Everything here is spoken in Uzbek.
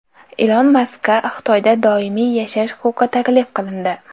Ilon Maskka Xitoyda doimiy yashash huquqi taklif qilindi.